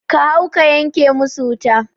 Ka hau ka yanke musu wuta